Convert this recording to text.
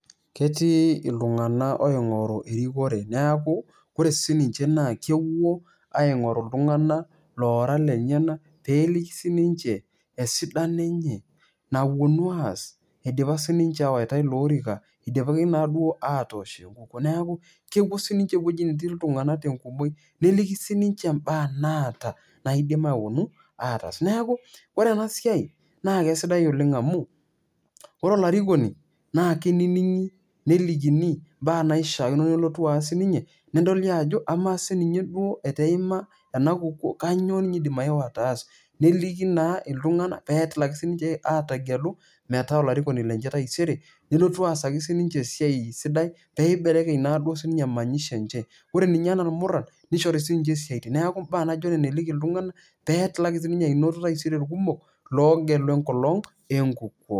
ketii iltunganakoingor erikore neaku ore sininche naa kepuoaingoru iltunganak loora lenyenak peliki sininche esidano enye napuonu aas idipa sininche awoita iloorika , idipaki naaduo atoosh enkukuo. neeku kepuo sininche ewueji netii iltunganak tenkumoi ,nelikisiniche imbaa naaata naidim aponu ataas. neeku ore ena siai naa kesidai oleng amu ore olarikoni naa keininigi , nelikini mbaa naishiaakino nelotu aas sininye ,nedoli ajo amaa duoo teneaku eima ena kukuoo kainyioo ninye indim aeu ataasa .neliki naa iltunganak peidimsiininche ategelu metaa olarikoni lenye taisere , nelotu aasaki sinche esiai sidai , peibelekeny naaduo emanyisho enche .ore ninye anaa irmuran nishori sinche isiatin .